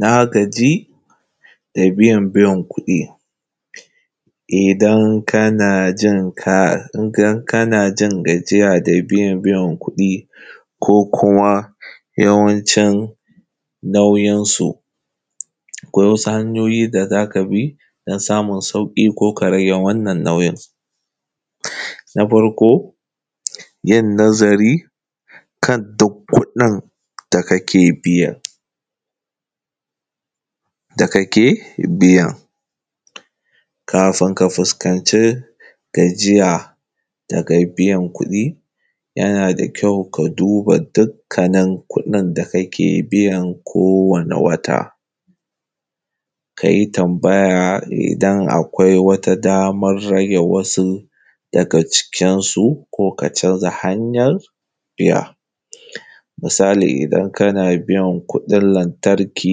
Na gaji da biyan biyan kuɗi, idan kana jin ka, idan kana jin gajiya da biyan biyan kuɗi, ko kuma yawancin nauyinsa, akwai hanyoyi da zaka bi don samun sauƙi ko kuma ka rage wannan nau’yin. Na farko yin nazari kan duk kuɗin da kake biya, da kake biya, kafin ka fuskanci gajiya daga biyan kuɗi yana da kyau ka duba dukkanin kuɗin da kake biyan ko wane wata, ka yi tambaya idan damar rage wasu daga cikinsu, ko ka canza hanyar biya. Misali, idan kana biyan kuɗin lantarki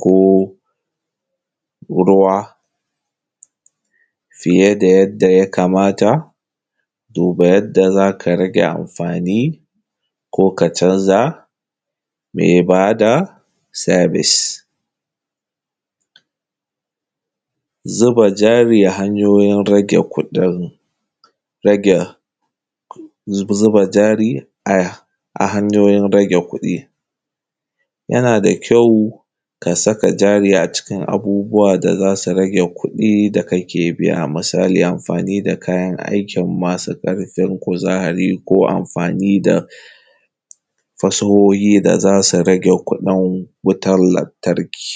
ko ruwa fiye da yadda ya kamata, duba yadda za ka rage amfani, ko ka canza mai ba da service. Zuba jari hanyoyin rage kuɗin, rage zuba jari a hanyoyin rage kuɗi, yana da kyau ka saka jari acikin abubuwa da za su rage kuɗi da kake biya, misali amfani da kayan aikin masu ƙarfin kuzari ko amfani da fasahohi da za su rage kuɗin wutan lantarki.